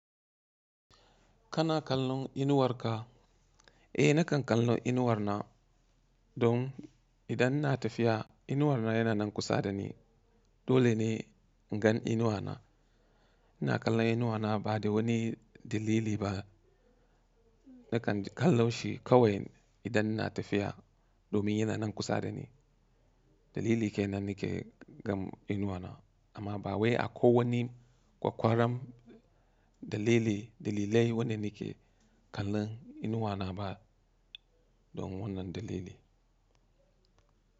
Kana kallon inuwarka? Eh nakan kallon inuwarna, don idan ina tafiya, inuwarna yana nan kusa da ni. Dole ne in gan inuwana. Ina kallon inuwana ba da wani dalili ba. Nakan kalle shi kawai idan ina tafiya domin yana nan kusa da ni. Dalili ke nan nake gan inuwana amma ba wai akwai wani kwakwaran dalili, dalilai wanda na ke kallon inuwana ba don wannan dalili.